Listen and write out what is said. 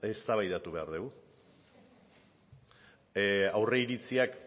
eztabaidatu behar degu aurreiritziak